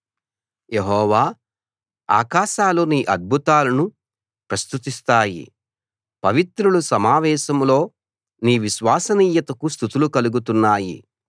యెహోవా ఆకాశాలు నీ అద్భుతాలను ప్రస్తుతిస్తాయి పవిత్రుల సమావేశంలో నీ విశ్వసనీయతకు స్తుతులు కలుగుతున్నాయి